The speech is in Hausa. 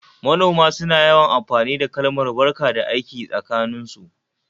Manoma suna yawan amfani da kalmar "barka da aiki" tsakaninsu